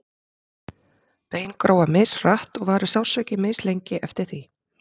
bein gróa mishratt og varir sársauki mislengi eftir því